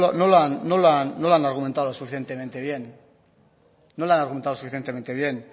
no lo han argumentado suficientemente bien